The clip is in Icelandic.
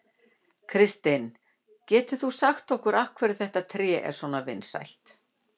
Kristinn, getur þú sagt okkur af hverju þetta tré er svona vinsælt?